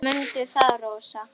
Mundu það, Rósa.